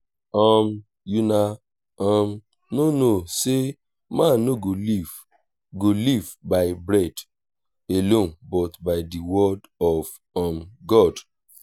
um una um no know say man no go live go live by bread alone but by the word of um god